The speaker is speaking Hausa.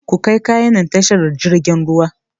Kukai kayan nan tashar jirfin ruwa!